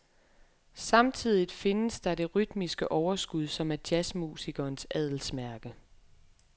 Samtidigt findes der det rytmiske overskud, som er jazzmusikerens adelsmærke.